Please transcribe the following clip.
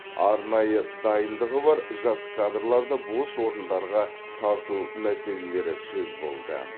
арнайы дайындығы бар жас кадрларды бос орындарға тарту мәселелері сөз болды